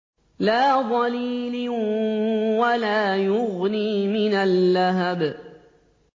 لَّا ظَلِيلٍ وَلَا يُغْنِي مِنَ اللَّهَبِ